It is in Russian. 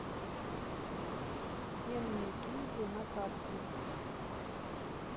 пенная гильдия на карте